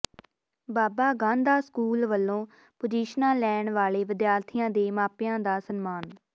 ਬਾਬਾ Gandha school ਵੱਲੋਂ ਪੁਜ਼ੀਸ਼ਨਾਂ ਲੈਣ ਵਾਲੇ ਵਿਦਿਆਰਥੀਆਂ ਦੇ ਮਾਪਿਆਂ ਦਾ ਸਨਮਾਨ